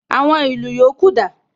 Àwọn ìlù yòókù dà?